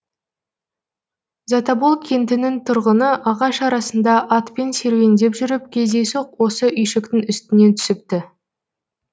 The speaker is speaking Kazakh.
затобол кентінің тұрғыны ағаш арасында атпен серуендеп жүріп кездейсоқ осы үйшіктің үстінен түсіпті